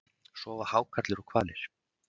sofa hákarlar og hvalir